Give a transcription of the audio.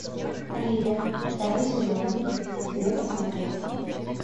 ривер второй сезон где посмотреть